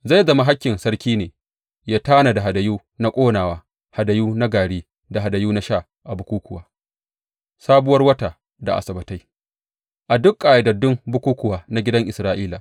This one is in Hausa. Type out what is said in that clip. Zai zama hakkin sarki ne ya tanada hadayu na ƙonawa, hadayu na gari da hadayu na sha a bukukkuwa, Sabuwar Wata da Asabbatai, a duk ƙayyadaddun bukukkuwa na gidan Isra’ila.